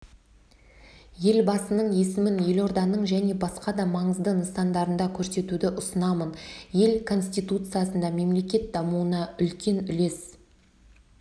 елбасының есімін елорданың және басқа да маңызды нысандарында көрсетуді ұсынамын ел конституциясында мемлекет дамуына үлкен үлес